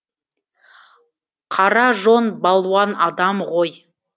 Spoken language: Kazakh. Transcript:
қара жон балуан адам ғой